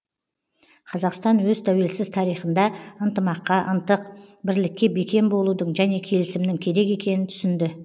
қазақстан өз тәуелсіз тарихында ынтымаққа ынтық бірлікке бекем болудың және келісімнің керек екенін түсінді